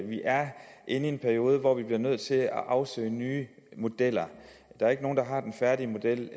inde i en periode hvor vi bliver nødt til at afsøge nye modeller der er ikke nogen der har den færdige model